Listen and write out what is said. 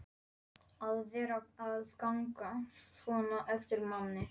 að vera að ganga svona á eftir manni.